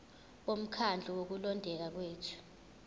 bomkhandlu wokulondeka kwethu